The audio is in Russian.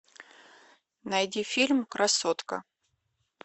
найди фильм красотка